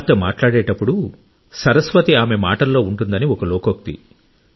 కుమార్తె మాట్లాడేటప్పుడు సరస్వతి ఆమె మాటలలో ఉంటుందని ఒక లోకోక్తి